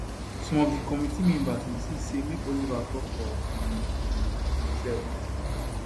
some of di committee members insist say make oliver tok for um um imserf